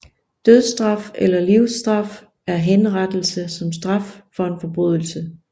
Dødsstraf eller livsstraf er henrettelse som straf for en forbrydelse